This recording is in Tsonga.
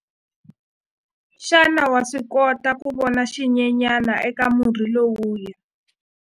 Xana wa swi kota ku vona xinyenyana eka murhi lowuya?